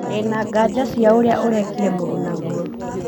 Ndĩna nganja cĩa ũria ũrekire mũrunaguo